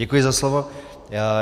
Děkuji za slovo.